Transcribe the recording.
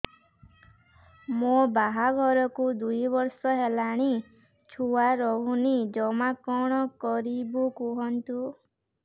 ମୋ ବାହାଘରକୁ ଦୁଇ ବର୍ଷ ହେଲାଣି ଛୁଆ ରହୁନି ଜମା କଣ କରିବୁ କୁହନ୍ତୁ